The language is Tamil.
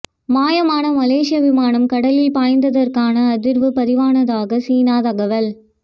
மாயமான மலேசிய விமானம் கடலில் பாய்ந்ததற்கான அதிர்வு பதிவானதாக சீனா தகவல்